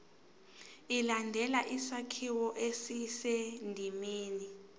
ilandele isakhiwo esisendimeni